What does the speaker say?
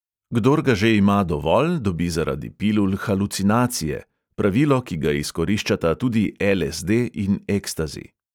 Kdor ga že ima dovolj, dobi zaradi pilul halucinacije – pravilo, ki ga izkoriščata tudi el|es|de in ekstazi.